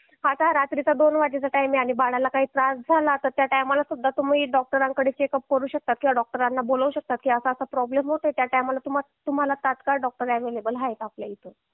आता रात्रीचा दोन वाजेचा टाईम आहे आणि बाळाला जर काही त्रास झाला तर त्या टायमाला सुद्धा तुम्ही डॉक्टरांकडे चेकअप करू शकता किंवा डॉक्टरांना बोलू शकता की असा असा प्रॉब्लेम होतोय त्या टायमाला तुम्हाला तात्काळ डॉक्टर अवेलेबल आहेत आपल्याकडे